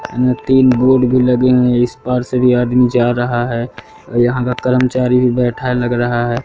तीन बोर्ड भी लगे हैं इस पार से भी आदमी जा रहा है यहां का करमचारी बैठा लग रहा है।